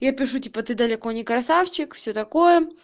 я пишу типа ты далеко не красавчик все такое